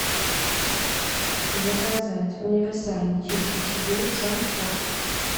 заказать универсальный чистящий гель санфор